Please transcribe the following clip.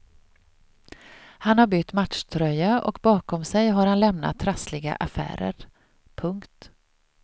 Han har bytt matchtröja och bakom sig har han lämnat trassliga affärer. punkt